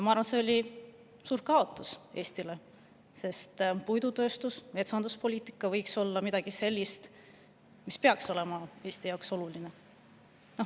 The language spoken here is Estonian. Ma arvan, et see oli Eestile suur kaotus, sest puidutööstus ja metsanduspoliitika peaksid olema Eesti jaoks olulised.